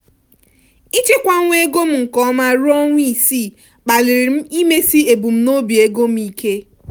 ịchekwanwu ego m nke ọma ruo ọnwa isii kpaliri m imesi ebumnobi ego m ike.